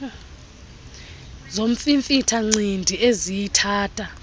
zomfimfitha ncindi eziyithatha